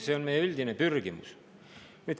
See on meie üldine pürgimus.